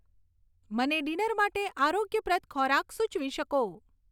મને ડીનર માટે આરોગ્યપ્રદ ખોરાક સુચવી શકો